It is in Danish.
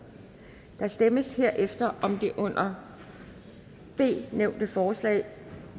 der stemmes herefter om det under b nævnte forslag